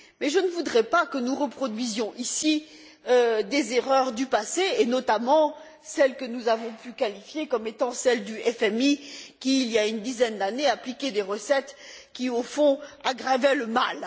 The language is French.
Mais je ne voudrais pas que nous reproduisions ici des erreurs du passé, et notamment celles que nous avons pu qualifier d'erreurs du FMI qui, il y a une dizaine d'années, appliquait des recettes qui, au fond, aggravaient le mal.